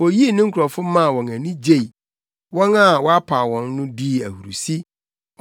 Oyii ne nkurɔfo maa wɔn ani gyei; wɔn a wapaw wɔn no dii ahurusi;